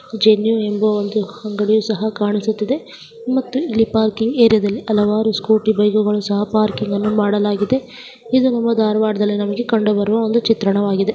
ಜೆನು ಎಂಬ ಅಂಗಡಿಯು ಸಹ ಕಾಣುತ್ತಾ ಇದೆ ಮತ್ತು ಇಲ್ಲಿ ಪಾರ್ಕಿಂಗ್ ಏರಿಯಾದಲ್ಲಿ ಹಲವಾರು ಸ್ಕೂಟಿ ಗಳನ್ನೂ ಸಹ ಪಾರ್ಕಿಂಗ್ ಮಾಡಲಾಗಿದೆ ಇದು ಧಾರವಾಡದಲ್ಲಿ ಕಂಡುಬರುವ ಚಿತ್ರಣವಾಗಿದೆ..